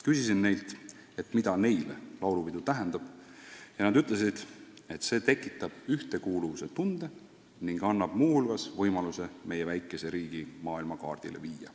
Küsisin neilt, mida neile laulupidu tähendab, ja nad ütlesid, et see tekitab ühtekuuluvuse tunde ning aitab muu hulgas meie väikese riigi maailmakaardile viia.